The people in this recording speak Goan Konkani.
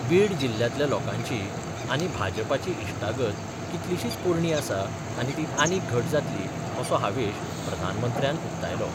बीड जिल्ल्यांतल्या लोकांची आनी भाजपाची इश्टागत कितलीशीच पोरणी आसा आनी ती आनीक घट जातली असो हावेश प्रधानमंत्र्यान उक्तायलो.